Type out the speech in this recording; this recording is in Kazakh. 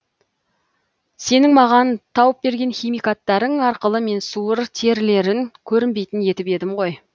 сенің маған тауып берген химикаттарың арқылы мен суыр терілерін көрінбейтін етіп едім ғой